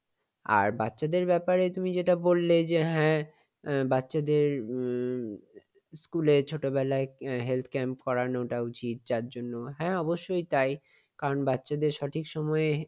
আর বাচ্চাদের ব্যাপারে তুমি যেটা বললে যে হ্যাঁ, আহ বাচ্চাদের উম school এ ছোটবেলায় বাচ্চাদের health camp করানোটা উচিত। যার জন্য হ্যাঁ অবশ্যই তাই কারণ বাচ্চাদের সঠিক সময়ে